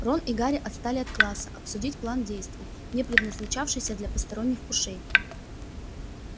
рон и гарри отстали от класса обсудить план действий не предназначавшийся для посторонних ушей